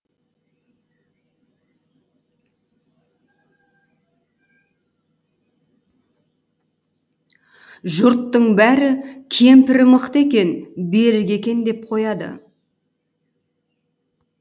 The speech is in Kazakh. жұрттың бәрі кемпірі мықты екен берік екен деп қояды